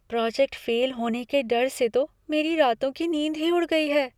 Project fail होने के डर से तो मेरी रातों की नींद ही उड़ गई है।